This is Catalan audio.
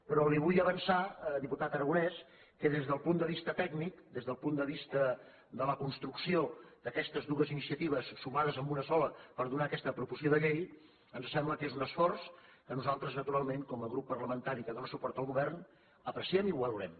però li vull avançar diputat aragonès que des del punt de vista tècnic des del punt de vista de la construcció d’aquestes dues iniciatives sumades en una sola per donar aquesta proposició de llei ens sembla que és un esforç que nosaltres naturalment com a grup parlamentari que dóna suport al govern apreciem i valorem